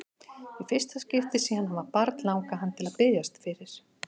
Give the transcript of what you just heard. Í fyrsta skipti síðan hann var barn langaði hann til að biðjast fyrir.